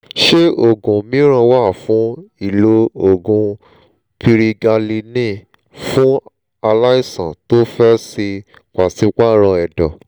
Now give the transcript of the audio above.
ṣé òògùn mìíràn wà fún ìlo òògun pirigalíìnì fún aláìsàn tó fẹ́ ṣẹ pàṣípààrọ̀ ẹ̀dọ̀?